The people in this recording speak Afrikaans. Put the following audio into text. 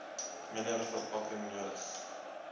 minder verpakking nodig